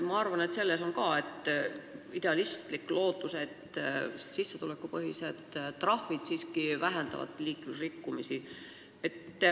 Ma arvan, et ka selles eelnõus on idealistlik lootus, et sissetulekupõhised trahvid siiski vähendavad liiklusrikkumisi.